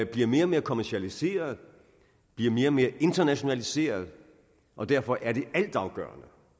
bliver mere og mere kommercialiseret bliver mere og mere internationaliseret og derfor er det altafgørende